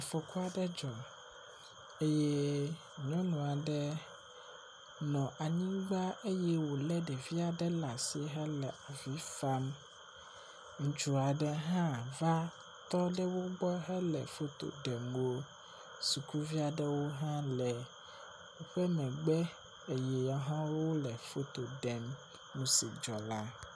Fɔkua ɖe dzɔ eye nyɔnu aɖe nɔ anyigba eye wo le ɖevi aɖe ɖe asi hele avi fam. Ŋutsu aɖe hã va tɔ ɖe wo gbɔ hele foto ɖem wo. sukuvi aɖewo hã le woƒe megbe eye woahã wo le foto ɖem nu si dɔ la.